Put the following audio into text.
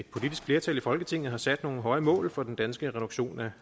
politisk flertal i folketinget har sat nogle høje mål for den danske reduktion af